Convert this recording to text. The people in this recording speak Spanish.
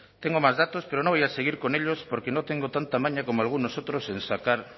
tengo más datos pero no voy a seguir con ellos porque no tengo tanta maña como algunos otros en sacar